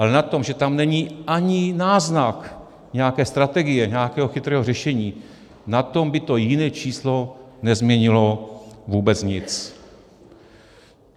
Ale na tom, že tam není ani náznak nějaké strategie, nějakého chytrého řešení, na tom by to jiné číslo nezměnilo vůbec nic.